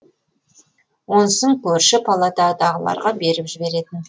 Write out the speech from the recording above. онысын көрші палатадағыларға беріп жіберетін